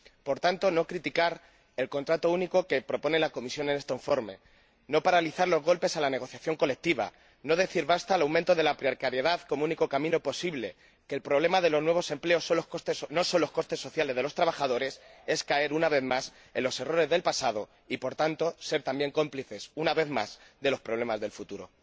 Por tanto, no criticar el contrato único que propone la Comisión en este informe, no paralizar los golpes a la negociación colectiva, no decir basta al aumento de la precariedad como único camino posible, no afirmar que el problema de los nuevos empleos no son los costes sociales de los trabajadores es caer, una vez más, en los errores del pasado y, por tanto, ser también cómplices, una vez más, de los problemas del futuro.